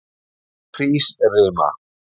Hrísrima